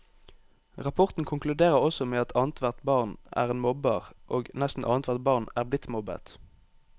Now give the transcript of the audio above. Rapporten konkluderer også med at annethvert barn er en mobber, og nesten annethvert barn er blitt mobbet.